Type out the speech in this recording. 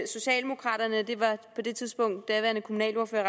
socialdemokraterne det var daværende kommunalordfører